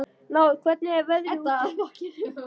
Náð, hvernig er veðrið úti?